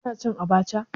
Kana cin abacha?